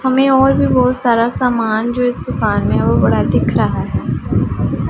हमें और भी बहुत सारा सामान जो इस दुकान में है वो बड़ा दिख रहा है।